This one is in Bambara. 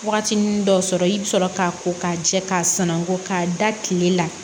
Waatinin dɔw sɔrɔ i bɛ sɔrɔ k'a ko k'a jɛ k'a sanangon k'a da tile la